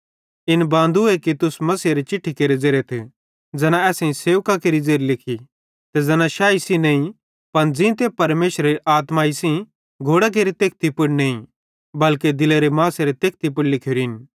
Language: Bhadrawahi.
इन बांदूए कि तुस मसीहेरे चिट्ठी केरे ज़ेरेथ ज़ैना असेईं सेवकां केरि ज़ेरी लिखी ते ज़ैना शैही सेइं नईं पन ज़ींते परमेशरेरी आत्माई सेइं घोड़ां केरे तेखती पुड़ नईं बल्के दिलेरे मासेरे तेखती पुड़ लिखोरिन